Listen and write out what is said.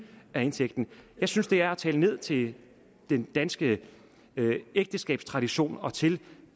af indtægten jeg synes det er at tale ned til den danske ægteskabstradition og til